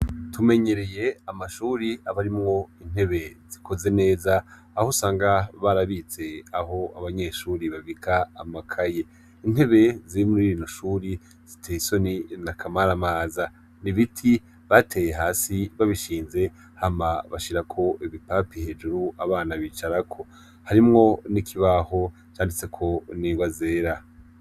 Tumenyereye amashure aba arimwo intebe zikoze neza aho usanga barabitse aho abanyeshure babika amakaye, intebe ziri muri no shuri ziteye isoni nakamaramaza, ibiti bateye hasi babishize hama bashirako ibipapi hejuru abana bicarako, harimwo n'ikibaho canditseko n'ingwa zera.